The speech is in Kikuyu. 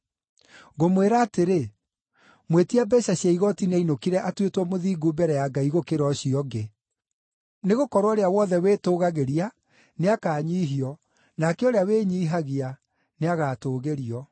“Ngũmwĩra atĩrĩ, mwĩtia mbeeca cia igooti nĩainũkire atuĩtwo mũthingu mbere ya Ngai gũkĩra ũcio ũngĩ. Nĩgũkorwo ũrĩa wothe wĩtũgagĩria nĩakanyiihio nake ũrĩa wĩnyiihagia nĩagatũũgĩrio.”